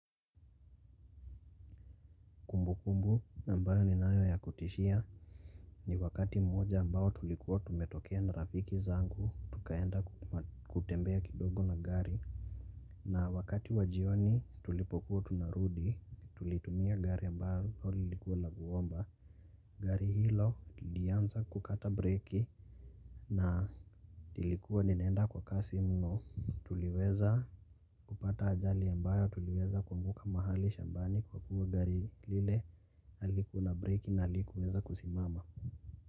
Kumbukumbu ambayo ninayo ya kutishia ni wakati mmoja ambayo tulikuwa tumetokea na rafiki zangu tukaenda kutembea kidogo na gari na wakati wa jioni tulipokuwa tunarudi tulitumia gari ambayo lilikuwa la kuomba. Gari hilo lilianza kukata breaki na lilikuwa ninaenda kwa kasi mno tuliweza kupata ajali ambayo tuliweza kuanguka mahali shambani kwa kuwa gari lile halikuwa na breki na halikuweza kusimama.